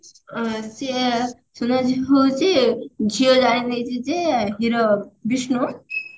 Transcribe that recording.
ଅ ସିଏ ସୁନାଝିଅ ହଉଛି ଝିଅ ଜାଣିନେଇଛି ଯେ hero ବିଷ୍ଣୁ